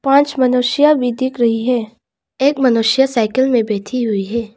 पांच मनुष्या भी दिख रही है एक मनुष्य साइकिल में बैठी हुई है।